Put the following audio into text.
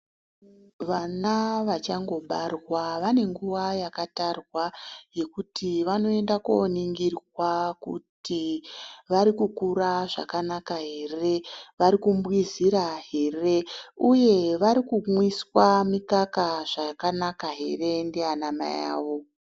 Vana vachangobarwa vane nguwa yakatarwa Yekuti vanoenda koningirwa kuti vari kukura zvakanaka ere vari kubwizhira ere uye vari kumwiswa mukaka zvakanaka ere ndiana maivavo.